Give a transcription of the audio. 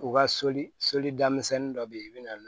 U ka soli soli daminɛ dɔ bɛ yen i bɛ na n'o ye